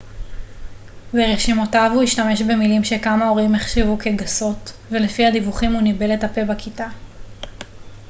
ברשימותיו הוא השתמש במילים שכמה הורים החשיבו כגסות ולפי הדיווחים הוא ניבל את הפה בכיתה